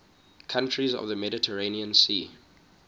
countries of the mediterranean sea